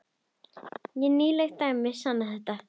Og nýleg dæmi sanna þetta.